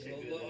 Təşəkkür.